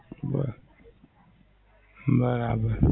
બોલ, બરાબર.